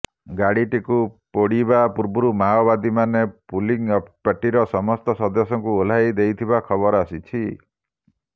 ଗାଡ଼ିଟିକୁ ପୋଡ଼ିବା ପୂର୍ବରୁ ମାଓବାଦୀମାନେ ପୋଲିଙ୍ଗ୍ ପାର୍ଟିର ସମସ୍ତ ସଦସ୍ୟଙ୍କୁ ଓହ୍ଲାଇ ଦେଇଥିବା ଖବର ଆସିଛି